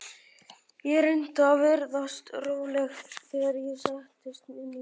Ég reyndi að virðast róleg þegar ég settist inn í bílinn.